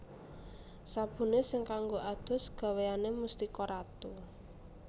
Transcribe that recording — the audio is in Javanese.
Sabune sing kanggo adus gaweane Mustika Ratu